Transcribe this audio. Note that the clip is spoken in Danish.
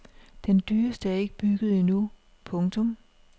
Den dyreste er ikke bygget endnu. punktum